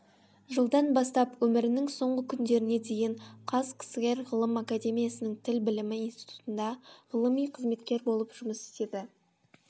жылдан бастап өмірінің соңғы күндеріне дейін қазкср ғылым академиясының тіл білімі институтында ғылыми қызметкер болып жұмыс істеді